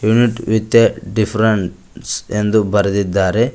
Unit with a difference ಎಂದು ಬರೆದಿದ್ದಾರೆ.